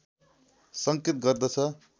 सङ्केत गर्दछ